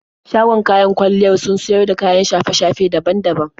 Shagon kayan kwalliyar sun siyar da kayan shafe-shafe daban daban.